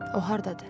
O hardadır?